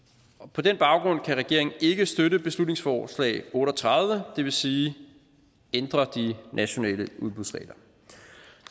på den baggrund kan regeringen ikke støtte beslutningsforslag b otte og tredive det vil sige ændre de nationale udbudsregler